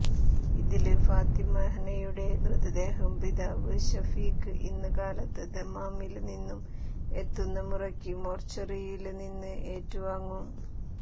ഇതില് ഫാത്തിമ ഹനയുടെ മൃതദേഹം പിതാവ് ശഫീഖ് ഇന്ന് കാലത്ത് ദമാമില് നിന്നും എത്തുന്ന മുറക്ക് മോര്ച്ചറിയില് നിന്ന് ഏറ്റുവാങ്ങും